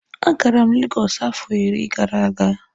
Agara m Lagos afo iri gara aga.